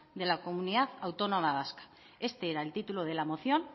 de la comunidad autónoma vasca este era el título de la moción